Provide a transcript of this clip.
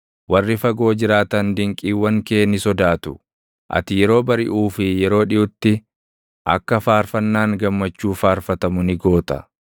Warri fagoo jiraatan dinqiiwwan kee ni sodaatu; ati yeroo bariʼuu fi yeroo dhiʼutti, akka faarfannaan gammachuu faarfatamu ni goota.